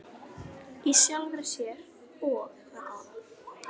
í sjálfri sér- og það góða.